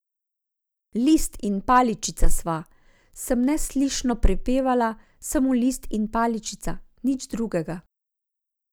List in paličica sva, sem neslišno popevala, samo list in paličica, nič drugega.